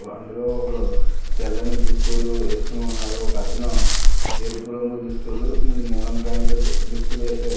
అందులో ఒకరు తెల్లని దుస్తులు వేసుకుని ఉన్నారు ఒకతను ఎరుపు రంగు దుస్తులు నీలం ప్యాంటు దుస్తులు వేశారు.